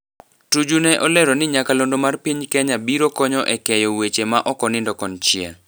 Tuju ne olero ni nyakalondo mar piny Kenya biro konyo e keyo weche ma okonindo konchiel.